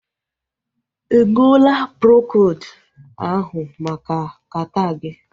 Ịṅụla Procold ahụ maka kata gị?